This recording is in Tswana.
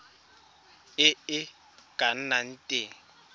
e e ka nnang teng